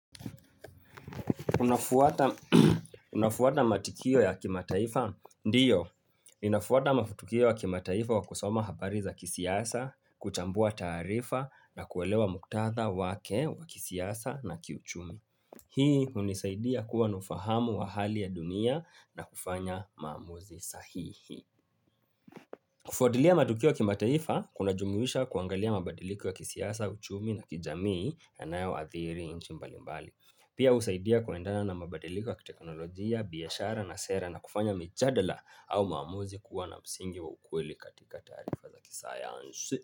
Unafuata matikio ya kimataifa? Ndio, ninafuata mafutukio ya kimataifa wa kusoma habari za kisiasa, kuchambua taarifa na kuelewa muktadha wake wa kisiasa na kiuchumi. Hii hunisaidia kuwa na ufahamu wa hali ya dunia na kufanya maamuzi sahihi. Kufuatilia matukio ya kimataifa, kuna jumuisha kuangalia mabadiliko ya kisiasa, uchumi na kijamii yanayo athiri nchi mbalimbali. Pia husaidia kuendana na mabadiliko ya kiteknolojia, biashara na sera na kufanya michadala au maamuzi kuwa na msingi wa ukweli katika taarifa za kisayansi.